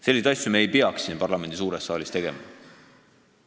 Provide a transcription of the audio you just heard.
Selliseid asju ei peaks me siin parlamendi suures saalis tegema.